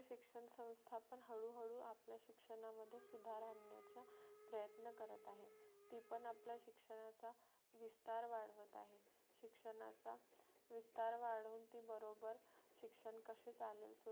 सुधार आणण्याच्या प्रयत्न करत आहे ती पण आपल्या शिक्षणाच्या विस्तार वाढवत आहे शिक्षणाचा विस्तार वाढवून ती बरोबर शिक्षण कसे चालेल सुरळीत